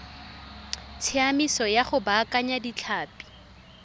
tsamaiso ya go baakanya ditlhapi